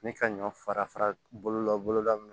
Ni ka ɲɔ fara fara bolola boloda min